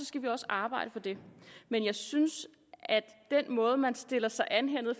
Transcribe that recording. skal vi også arbejde for det men jeg synes at den måde man stiller sig an på